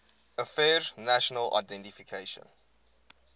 affairs national identification